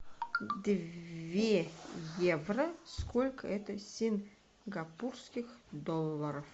две евро сколько это сингапурских долларов